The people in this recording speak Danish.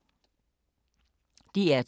DR2